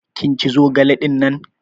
Kin ci zogale dinnan?